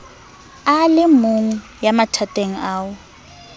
a lemong ya mathateng ao